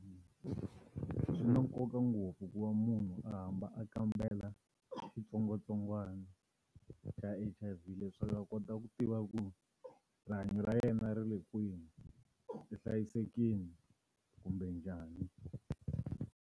Swi na nkoka ngopfu ku va munhu a hamba a kambela xitsongwatsongwana xa H_I_V leswaku a kota ku tiva ku rihanyo ra yena ri le kwihi ri hlayisekini kumbe njhani.